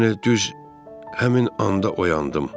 yəni düz həmin anda oyandım.